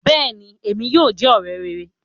Béèni, Èmí óò jẹ òré rè